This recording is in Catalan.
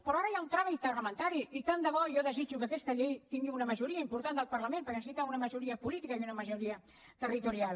però ara hi ha un tràmit parlamentari i tant de bo jo desitjo que aquesta llei tingui una majoria important del parlament perquè necessita una majoria política i una majoria territorial